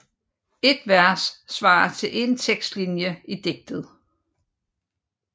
Et vers svarer til én tekstlinje i digtet